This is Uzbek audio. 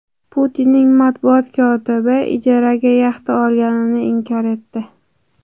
Putinning matbuot kotibi ijaraga yaxta olganini inkor etdi.